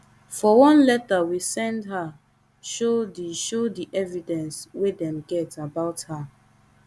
for one letter we send her show di show di evidence wey dem get about her